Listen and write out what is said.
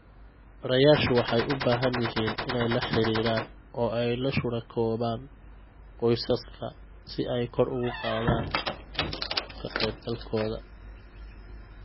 Barayaashu waxay u baahan yihiin inay la xiriiraan oo ay la shuraakoobaan qoysaska si ay kor ugu qaadaan ka-qaybgalkooda.